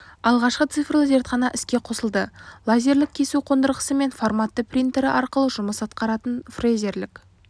алғашқы цифрлы зертхана іске қосылды лазерлік кесу қондырғысы мен форматты принтері арқылы жұмыс атқаратын фрезерлік